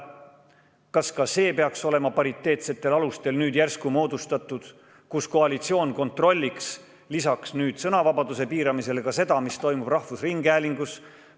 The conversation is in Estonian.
Kas ka see peaks olema nüüd järsku moodustatud proportsionaalsetel alustel, nii et koalitsioon kontrolliks lisaks sõnavabaduse piiramisele ka seda, mis toimub rahvusringhäälingus?